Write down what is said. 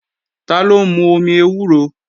Taló ń mú omi ewúro?